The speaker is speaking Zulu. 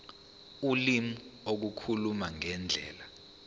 ulimi ukukhuluma ngendlela